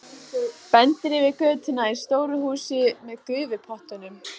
Bendir yfir götuna á stóru húsin með gufupottunum.